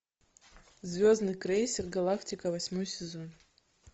звездный крейсер галактика восьмой сезон